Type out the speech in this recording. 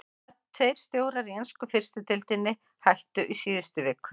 Hvaða tveir stjórar í ensku fyrstu deildinni hættu í síðustu viku?